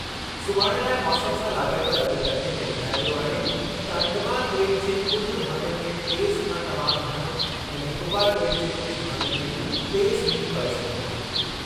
सुभाणे लाइ मौसमु सां लाॻापियल अॻकथीअ में ॿुधायो वियो आहे त अंडमान ॿेट जे कुझु भाङनि में तेज़ु खां तमामु घणो ऐं निकोबार ॿेट जे कुझु भाङनि में तेज़ु मींहुं पई सघे थो।